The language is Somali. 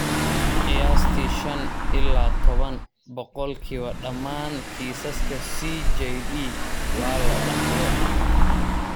Qiyaastii shan ilaa tooban boqolkiiba dhammaan kiisaska CJD waa la dhaxlo.